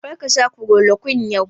Kar ka sha kulorokwin yau!